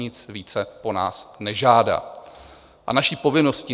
Nic více po nás nežádá a naší povinností.